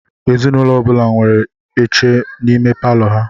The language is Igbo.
Ezinụlọ ọ bula nwèrè iche n'ime Palọ ha.